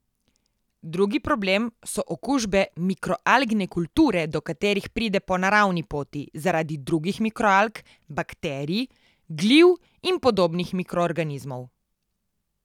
Drugi problem so okužbe mikroalgne kulture, do katerih pride po naravni poti zaradi drugih mikroalg, bakterij, gliv in podobnih mikroorganizmov.